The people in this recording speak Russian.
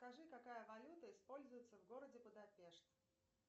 скажи какая валюта используется в городе будапешт